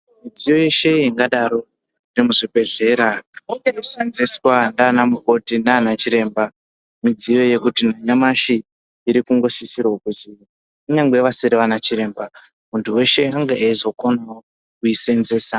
Midziyo yeshe ingadaro nemuzvibhedhlera inoseenzeswa ndiana mukoti nana chiremba, midziyo yekuti nanyamashi iri kunosisirwa kuzi kunyangwe vasiri vana chiremba muntu weshe ange eizokonawo kuisenzesa .